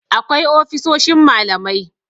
akwai ofisoshin malamai